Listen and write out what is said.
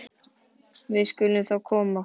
Við skulum þá koma okkur.